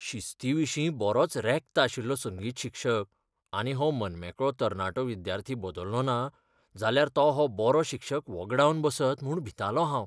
शिस्तीविशीं बरोच रॅक्त आशिल्लो संगीत शिक्षक, आनी हो मनमेकळो तरणाटो विद्यार्थी बदल्लोना जाल्यार तो हो बरो शिक्षक वगडावन बसत म्हूण भितालों हांव.